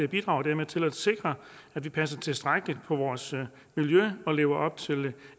bidrager dermed til at sikre at vi passer tilstrækkeligt på vores miljø og lever op til de